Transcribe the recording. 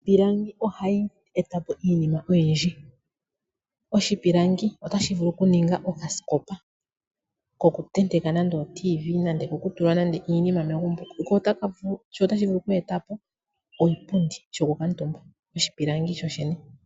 Iipilangi ohayi eta po iinima oyindji , oshipilangi otashi vulu okuninga okaskopa okutenteka nande oradio yomuzizimbe nande oko kutulwa nande iinima megumbo , sho otashi vulu oku eta oshipundi shokukutumba oshipilangi sho shene.